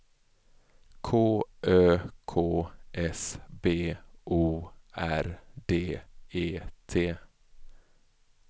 K Ö K S B O R D E T